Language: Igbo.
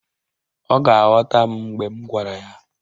Ọ ga-aghọta m mgbe m gwara ya.